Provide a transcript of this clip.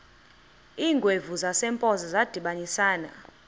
iingwevu zasempoza zadibanisana